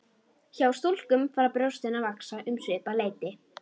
Hjá stúlkum fara brjóstin að vaxa um svipað leyti.